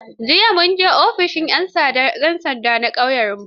Jiya mun je ofishin 'yan sanda na ƙauyenmu.